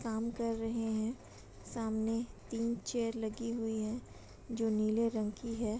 काम कर रहे हैं सामने तीन चेयर लगी हुई है जो नीले रंग की है।